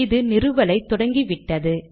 இது நிறுவலை தொடங்கிவிட்டது